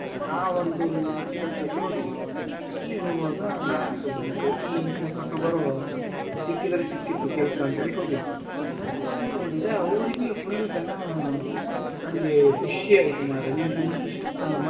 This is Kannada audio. ಆ ಒಂದು ಕೆಲ್ಸಕ್ಕೆ ಹೋಗಿದ್ದು ಅಲ್ಲಿ ಹೋಗುವಾಗ ನಾನ್ ಸುಮ್ಮನೇ ಹೋಗಿ lang:Foriegn interview lang:Foriegn ಕೊಟ್ಟು ಬರುವ ಸಿಕ್ಕಿದ್ರೆ ಸಿಕ್ಕಿತು ಕೆಲಸ ಅಂತ ಹೇಳಿ ಹೋಗಿದ್ದು ಅದು ನೋಡಿದ್ರೆ ಅವ್ರಿಗೆ full ಜನ ನನಗೆ ಖುಷಿ ಆಯ್ತು ಮರ್ರೆ ನೀವು ಇಷ್ಟು ಚಂದ ಮಾತಾಡ್ತಿರಲ್ಲ,